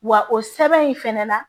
Wa o sɛbɛn in fɛnɛ na